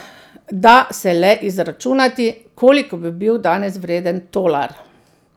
Da se le izračunati, koliko bi bil danes vreden tolar.